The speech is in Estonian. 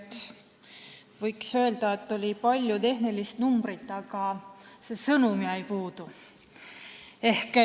Kuigi võiks öelda, et oli palju tehnilisi numbreid, aga see sõnum jäi puudu.